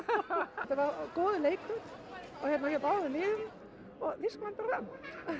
þetta var góður leikur hjá báðum liðum og Þýskaland bara vann